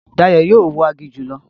Dayọ̀ yóò wọ aginjù lọ